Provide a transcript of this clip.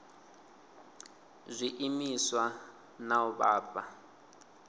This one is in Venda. zwiimiswa na u vha fha